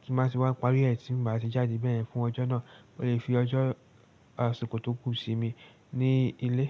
kí n má sì wá parí ẹ̀ tí màá sì jáde bẹ́ẹ̀ hán fún ọjọ́ náà. Mo lè fi ọjọ́ àsìkò tó kù sinmi ní ilé.